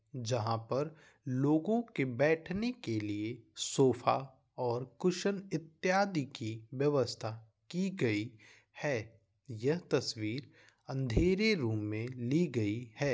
जहां पर लोगो के बैठने के लिए सोफा और कुशन इत्यादि कि व्यवस्था की गई है यह तस्वीर अंधेरे रूम मे ली गई है।